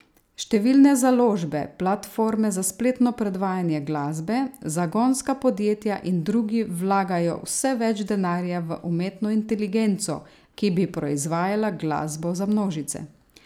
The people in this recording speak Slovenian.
Številne založbe, platforme za spletno predvajanje glasbe, zagonska podjetja in drugi vlagajo vse več denarja v umetno inteligenco, ki bi proizvajala glasbo za množice.